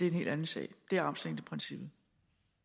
en helt anden sag det er armslængdeprincippet